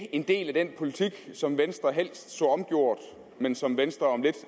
en del af den politik som venstre helst så omgjort men som venstre om lidt